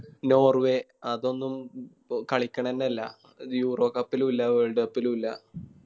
നോർവ്വെ അതൊന്നും കളിക്കലന്നെയില്ല Eurocup ലും ഇല്ല Worldcup ലും ഇല്ല